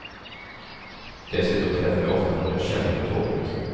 Dessutom träffar jag ofta nån jag känner på tåget.